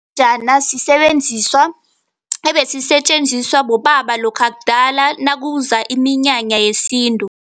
Sisebenziswa ebesisetjenziswa bobaba lokha kudala nakuza iminyanya yesintu.